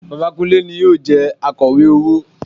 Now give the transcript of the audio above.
Bàbá Kúnlé ni yóò jẹ Akọ̀wé owó